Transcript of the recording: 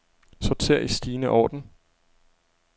Sorter i stigende orden.